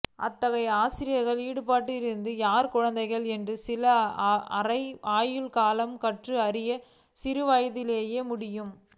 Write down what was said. அத்தகைய ஆசிரியர்கள் ஈடுபட்டிருக்கிறார்கள் யார் குழந்தைகள் என்ன சில அரை ஆயுள் காலம் கற்றல் அறிய சிறுவயதிலிருந்தே முடியும்